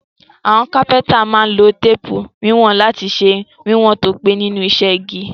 Àwon Kápẹ́ńtà má n lo téèpù ìwọ̀n lati se wíwòn to pé nínú isẹ́ igi